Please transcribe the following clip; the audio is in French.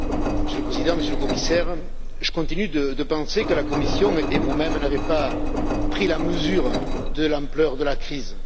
Monsieur le Président, Monsieur le Commissaire, je continue de penser que la Commission et vous même n'avez pas pris la mesure de l'ampleur de la crise.